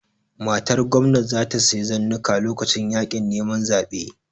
Matar Gwamna ta sayi zannuwa lokacin yaƙin neman zabe